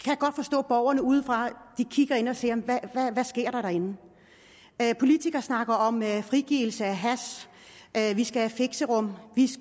borgerne udefra og siger hvad sker der derinde politikere snakker om frigivelse af hash at vi skal have fixerum